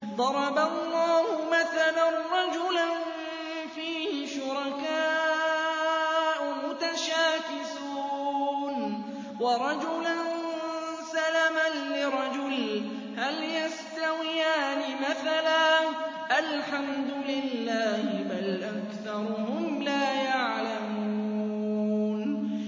ضَرَبَ اللَّهُ مَثَلًا رَّجُلًا فِيهِ شُرَكَاءُ مُتَشَاكِسُونَ وَرَجُلًا سَلَمًا لِّرَجُلٍ هَلْ يَسْتَوِيَانِ مَثَلًا ۚ الْحَمْدُ لِلَّهِ ۚ بَلْ أَكْثَرُهُمْ لَا يَعْلَمُونَ